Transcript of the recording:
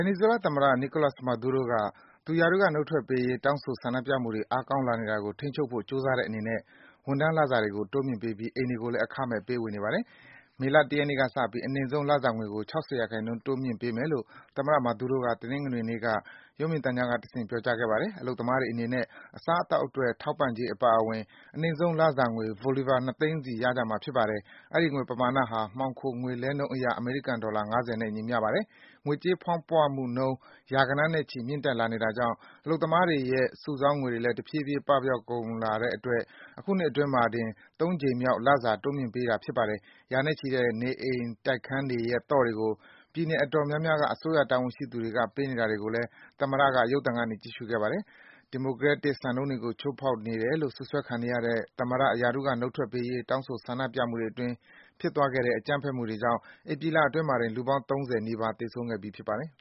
နီဇွဲလားသမ္မတ Nicolas Maduro က သူ ရာထူးက နှုတ်ထွက်ပေးရေး တောင်းဆို ဆန္ဒပြမှုတွေ အားကောင်းလာနေတာကို ထိန်းချုပ်ဖို့ ကြိုးစားတဲ့အနေနဲ့ ဝန်ထမ်းလစာတွေကို တိုးမြင့်ပေးပြီး အိမ်တွေကိုလည်း အခမဲ့ ပေးဝေနေပါတယ်။ မလ ၁ ရက်နေ့ကစပြီး အနိမ့်ဆုံး လစာငွေကို ၆၀% တိုးမြင့်ပေးမယ်လို့ သမ္မတ Maduro က တနင်္ဂနွေနေ့က ရုပ်မြင်သံကြားကတဆင့် ပြောကြားခဲ့ပါတယ်။ အလုပ်သမားတွေအနေနဲ့ အစားအသောက်အတွက် ထောက်ပံ့ကြေး အပါအဝင် အနိမ့်ဆုံး လစာငွေ bolivars ၂ သိန်းစီ ရကြမှာ ဖြစ်ပါတယ်။ အဲဒီ ငွေပမာဏဟာ မှောင်ခို ငွေလှဲနှုန်းအရ အမေရိကန် ဒေါ်လာ ၅၀ နဲ့ ညီမျှပါတယ်။ ငွေကြေးဖောင်းပွမှုနှုန်း ရာဂဏန်းနဲ့ချီ မြင့်တက်လာနေတာကြောင့် အလုပ်သမားတွေရဲ့ စုဆောင်းငွေတွေလည်း တဖြည်းဖြည်း ပပျောက်ကုန်တာကြောင့် အခုနှစ်အတွင်းမှာတင် ၃ ကြိမ်မြောက် လစာ တိုးမြင့်ပေးတာ ဖြစ်ပါတယ်။ ရာနဲ့ချီတဲ့ နေအိမ်တိုက်ခန်းတွေရဲ့ သော့တွေကို ပြည်နယ်အတော်များများက အစိုးရ တာဝန်ရှိသူတွေက ပေးနေတာကိုလည်း သမ္မတက ရုပ်သံကနေ ကြည့်ရှုခဲ့ပါတယ်။ ဒီမိုကရက်တစ် စံနှုန်းတွေကို ချိုးဖောက်နေတယ်လို့ စွပ်စွဲခံနေရတဲ့ သမ္မတ ရာထူးက နှုတ်ထွက်ပေးရေး တောင်းဆိုဆန္ဒပြမှုတွေအတွင်း ဖြစ်သွားခဲ့တဲ့ အကြမ်းဖက်မှုတွေကြောင့် ဧပြီလအတွင်းမှာတင် လူပေါင်း ၃၀ နီးပါး သေဆုံးခဲ့ပြီး ဖြစ်ပါတယ်